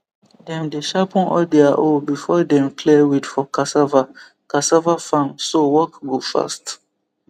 dem dey sharpen all their hoe before dem clear weed for cassava cassava farm so work go fast